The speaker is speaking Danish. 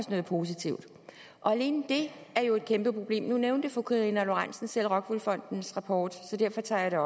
os noget positivt og alene det er jo et kæmpe problem nu nævnte fru karina lorentzen dehnhardt selv rockwool fondens rapport så derfor tager jeg